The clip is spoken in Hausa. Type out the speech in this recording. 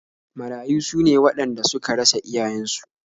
Marayu su ne waɗanda suka rasa iyayensu